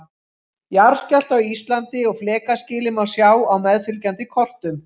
Jarðskjálfta á Íslandi og flekaskilin má sjá á meðfylgjandi kortum.